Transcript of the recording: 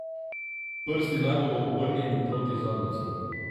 Prsti naj bodo obrnjeni proti zadnjici.